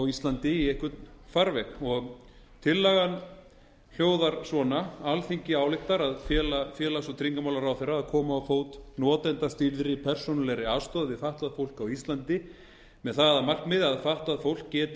íslandi í einhvern farveg tillagan hljóðar svona alþingi ályktar að fela félags og tryggingamálaráðherra að koma á fót notendastýrðri persónulegri aðstoð við fatlað fólk á íslandi með það að markmiði að fatlað fólk geti